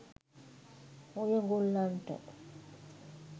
ඔය ගොල්ලන්ට